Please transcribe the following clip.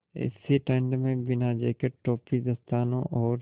ऐसी ठण्ड में बिना जेकेट टोपी दस्तानों और